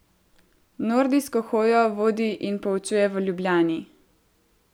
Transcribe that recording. Nordijsko hojo vodi in poučuje v Ljubljani.